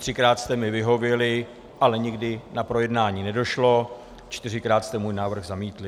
Třikrát jste mi vyhověli, ale nikdy na projednání nedošlo, čtyřikrát jste můj návrh zamítli.